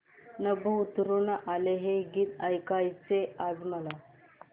नभं उतरू आलं हे गीत ऐकायचंय आज मला